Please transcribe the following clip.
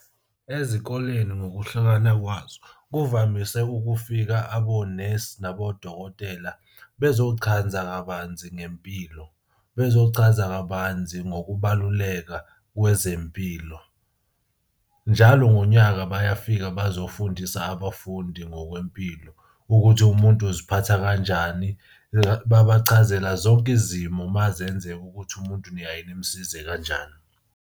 Ezikoleni ngokuhlukana kwazo kuvamise ukufika abonesi nabodokotela bezochanza kabanzi ngempilo bezochaza kabanzi ngokubaluleka kwezempilo. Njalo ngonyaka bayafika bazofundisa abafundi ngokwempilo ukuthi umuntu uziphatha kanjani. Babachazela zonke izimo uma zenzeka ukuthi umuntu niyaye nimusize kanjani.